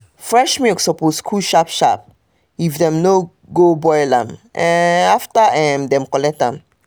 fresh milk suppose cool sharp-sharp if dem no go boil am um after um dem collect am um